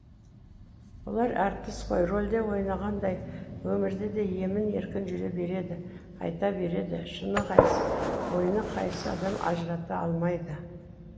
бұлар әртіс қой рөлде ойнағандай өмірде де емін еркін жүре береді айта береді шыны қайсы ойыны қайсы адам ажырата алмайды